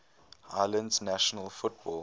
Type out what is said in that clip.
islands national football